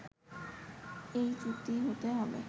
এই চুক্তি হতে হবে